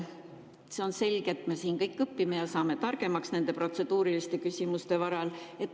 See on selge, et me siin kõik õpime ja saame targemaks nende protseduuriliste küsimuste varal.